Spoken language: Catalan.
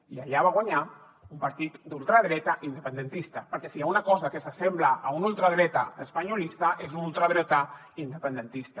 i allà va guanyar un partit d’ultradreta independentista perquè si hi ha una cosa que s’assembla a un ultradretà espanyolista és un ultradretà independentista